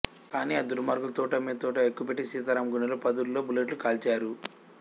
కాని ఆ దుర్మార్గులు తూటా మీద తూటా ఎక్కుపెట్టి సీతారాం గుండెల్లో పదుల్లో బుల్లెట్లు కాల్చారు